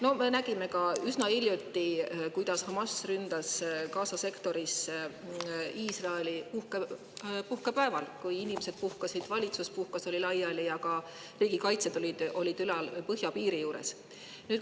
No me nägime üsna hiljuti, kuidas Hamas ründas Gaza sektoris Iisraeli puhkepäeval, kui inimesed puhkasid, valitsus puhkas, oli laiali ja ka riigikaitsjad olid põhjapiiri juures.